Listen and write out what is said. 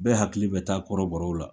Bɛɛ hakili bɛ taa kɔrɔbɔrɔw la.